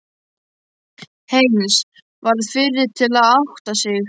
Heinz varð fyrri til að átta sig.